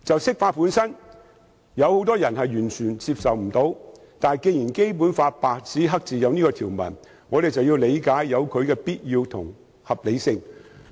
雖然很多人完全無法接受釋法，但既然《基本法》白紙黑字印有這項條文，我們便要理解它的必要性和合理性。